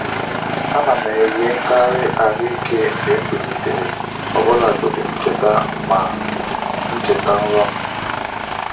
A na m enwekarị ahụ ike mgbe m bilitere, ọ bụlagodi ma m cheta ma m cheta nrọ m.